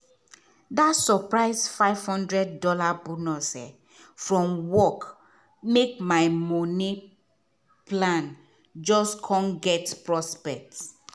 dat surprise five hundred dollars bonus from work make my money plan just come get prospect.